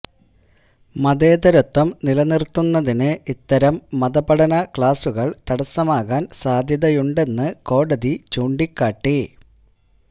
മതേതരത്വം നിലനിര്ത്തുന്നതിന് ഇത്തരം മതപഠന ക്ലാസ്സുകള് തടസ്സമാകാൻ സാധ്യതയുണ്ടെന്ന് കോടതി ചൂണ്ടികാട്ടി